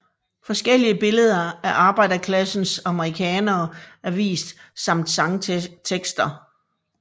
Forskellige billeder af arbejderklassens amerikanere er vist samt sangtekster